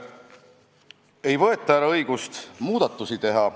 Ei võeta ära õigust muudatusi teha.